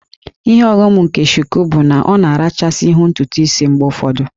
Ihe ọghọm nke Shuku bụ na ọ na-arachasị ihu ntutu isi mgbe ụfọdụ